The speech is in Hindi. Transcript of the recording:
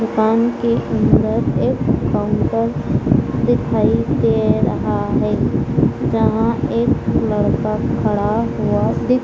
दुकान के अंदर एक काउंटर दिखाई दे रहा है जहां एक लड़का खड़ा हुआ दि--